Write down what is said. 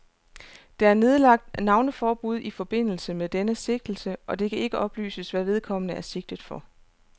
Der er nedlagt navneforbud i forbindelse med denne sigtelse, og det kan ikke oplyses, hvad vedkommende er sigtet for.